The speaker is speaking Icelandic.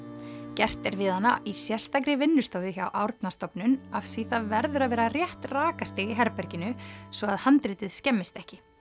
gert er við hana í sérstakri vinnustofu hjá Árnastofnun af því það verður að vera rétt rakastig í herberginu svo að handritið skemmist ekki